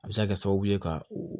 A bɛ se ka kɛ sababu ye ka o